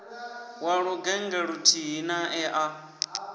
wa lugennge luthihi nae a